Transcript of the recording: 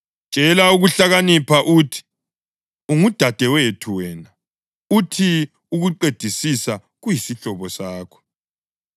Tshela ukuhlakanipha uthi, “Ungudadewethu wena,” uthi ukuqedisisa kuyisihlobo sakho;